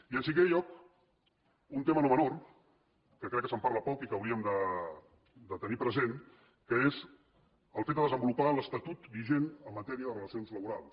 i en cinquè lloc un tema no menor que crec que se’n parla poc i que hauríem de tenir present que és el fet de desenvolupar l’estatut vigent en matèria de relacions laborals